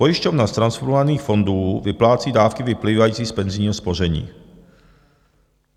Pojišťovna z transformovaných fondů vyplácí dávky vyplývající z penzijního spoření.